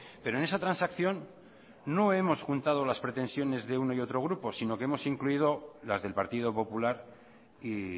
pero en esa transacción no hemos juntado las pretensiones de uno y otro grupo sino que hemos incluido las del partido popular y